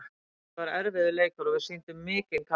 Þetta var erfiður leikur og við sýndum mikinn karakter.